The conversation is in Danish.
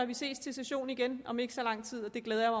vi ses til sessionen igen om ikke så lang tid og det glæder jeg